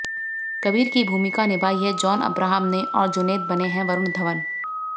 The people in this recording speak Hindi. कबीर की भूमिका निभाई है जॉन अब्राहम ने और जुनैद बने हैं वरुण धवन